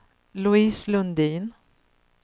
Louise Lundin